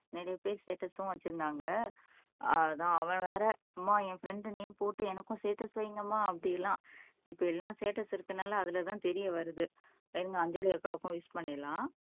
நிறைய பேர் ஸ்டேட்டஸும் வச்சிருந்தாங்க அதான் அவன் வேற அம்மா என் ஃப்ரண்டு நேம் போட்டு எனக்கும் ஸ்டேட்டஸ் வைங்கம்மா அப்படியெல்லாம் இப்ப எல்லாம் ஸ்டேட்டஸ் இருக்கிறதுனால அதுல தான் தெரிய வருது இருங்க அஞ்சலி அக்காவுக்கும் விஷ் பண்ணிடலாம்